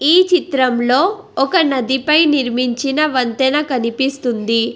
ఈ చిత్రంలో ఒక నదిపై నిర్మించిన వంతెన కనిపిస్తుంది.